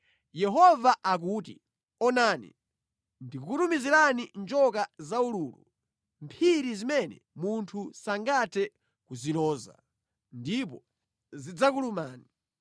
Yehova akuti, “Onani, ndikukutumizirani njoka zaululu, mphiri zimene munthu sangathe kuzilodza, ndipo zidzakulumani,”